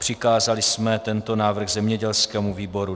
Přikázali jsme tento návrh zemědělskému výboru.